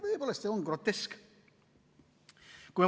Tõepoolest, see on grotesk.